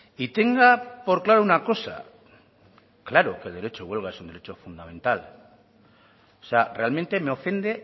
y tenga por claro una cosa claro que el derecho de huelga es un derecho fundamental o sea realmente me ofende